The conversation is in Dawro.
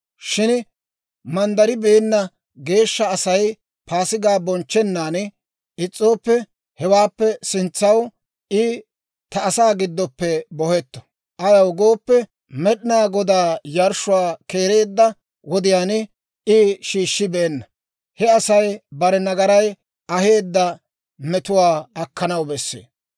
Shin manddaribeenna geeshsha Asay Paasigaa bonchchennaan is's'ooppe, hewaappe sintsaw I ta asaa giddoppe bohetto. Ayaw gooppe, Med'inaa Godaa yarshshuwaa keereedda wodiyaan I shiishshibeenna. He Asay bare nagaray aheedda metuwaa akkanaw besse.